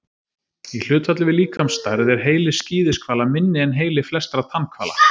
Í hlutfalli við líkamsstærð er heili skíðishvala minni en heili flestra tannhvala.